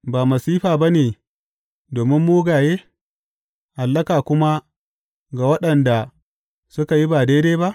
Ba masifa ba ne domin mugaye, hallaka kuma ga waɗanda suka yi ba daidai ba?